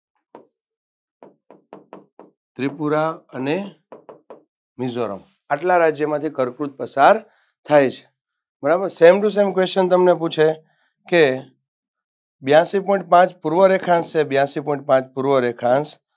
ત્રિપુરા અને મિઝોરમ આટલા રાજયોમાંથી કર્કવૃત પસાર થાય છે બરાબર same to same question તમને પૂછે કે બ્યાસી point પાંચ પૂર્વ રેખાંશ અને બ્યાસી point પાંચ પૂર્વ રેખાંશ